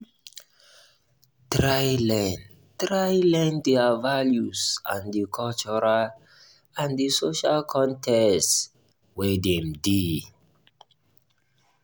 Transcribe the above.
try learn try learn their values and di cultural and social context wey dem dey